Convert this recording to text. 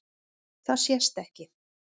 Það sést ekki.